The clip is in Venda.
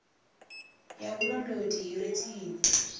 ya vhulondoti i re tsini